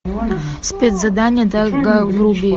спецзадание дага вруби